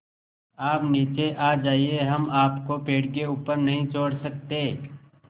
आप नीचे आ जाइये हम आपको पेड़ के ऊपर नहीं छोड़ सकते